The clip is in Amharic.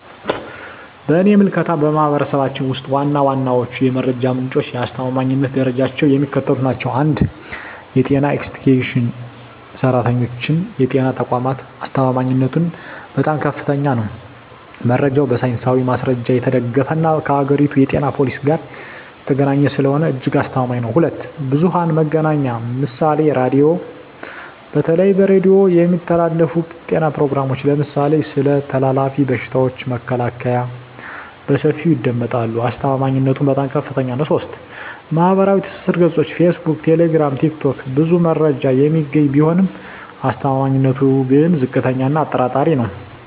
በእኔ ምልከታ፣ በማኅበረሰባችን ውስጥ ዋና ዋናዎቹ የመረጃ ምንጮችና የአስተማማኝነት ደረጃቸው የሚከተሉት ናቸው፦ 1. የጤና ኤክስቴንሽን ሠራተኞችና የጤና ተቋማት አስተማማኝነቱም በጣም ከፍተኛ ነው። መረጃው በሳይንሳዊ ማስረጃ የተደገፈና ከአገሪቱ የጤና ፖሊሲ ጋር የተገናኘ ስለሆነ እጅግ አስተማማኝ ነው። 2. ብዙኃን መገናኛ ምሳሌ ራዲዮ:- በተለይ በሬዲዮ የሚተላለፉ የጤና ፕሮግራሞች (ለምሳሌ ስለ ተላላፊ በሽታዎች መከላከያ) በሰፊው ይደመጣሉ። አስተማማኝነቱም በጣም ከፍታኛ ነው። 3. ማኅበራዊ ትስስር ገጾች (ፌስቡክ፣ ቴሌግራም፣ ቲክቶክ) ብዙ መረጃ የሚገኝ ቢሆንም አስተማማኝነቱ ግን ዝቅተኛ እና አጠራጣሪ ነው።